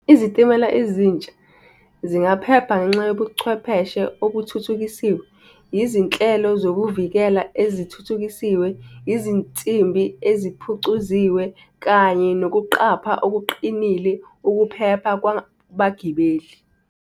Izitimela ezintsha zingaphepha ngenxa yobuchwepheshe okuthuthukisiwe, yizinhlelo zokuvikela ezithuthukisiwe, izinsimbi eziphucuziwe kanye nokuqapha okuqinile ukuphepha kwabagibeli.